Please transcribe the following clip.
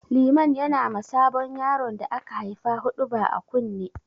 Liman na yi ma sabon yaron da aka haifa huɗuba a kunne.